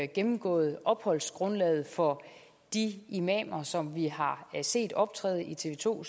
gennemgået opholdsgrundlaget for de imamer som vi har set optræde i tv to